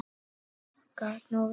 Gat nú verið